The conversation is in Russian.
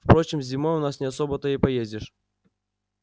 впрочем зимой у нас не особо-то и поездишь